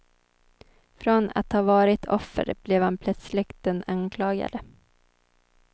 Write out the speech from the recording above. Från att ha varit offer blev han plötsligt den anklagade.